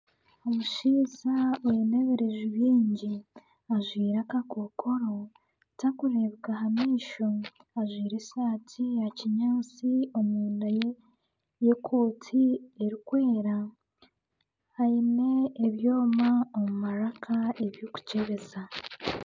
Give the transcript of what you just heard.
Omushaija oine ebireju bingi ajwaire akakookoro tarikureebeka aha maisho. Ajwaire esaati ya kinyaatsi omunda y'ekooti erikwera. Aine ebyoma omu maraka eby'okukyebeza.